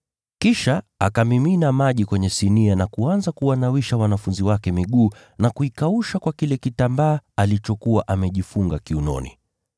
Kisha akamimina maji kwenye sinia na kuanza kuwanawisha wanafunzi wake miguu na kuikausha kwa kile kitambaa alichokuwa amejifunga kiunoni.